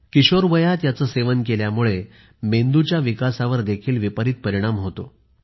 किशोरवयात याचे सेवन केल्यामुळे मेंदूच्या विकासावर विपरीत परिणाम होतो